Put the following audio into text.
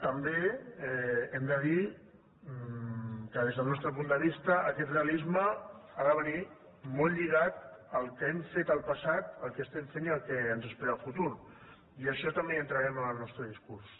també hem de dir que des del nostre punt de vista aquest realisme ha de venir molt lligat al que hem fet en el passat el que estem fent i el que ens espera en el futur i en això també hi entrarem en el nostre discurs